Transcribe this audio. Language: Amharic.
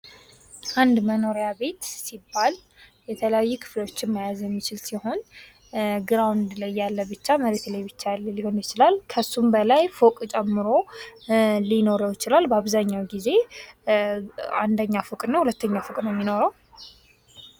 አንድ መኖሪያ ቤት ሲባል፤ የተለያዩ ክፍሎችን መያዝ የሚችል ሲሆን፤ መሬት ላይ ብቻ ሊሆን ይችላል። ከእርሱ በላይ ፎቆች ጨምሮ ሊኖረው ይችላል። በአብዛሀኛው ጊዜ አንደኛ ፎቅ እና ሁለተኛው ፎቅ ነው የሚኖረው።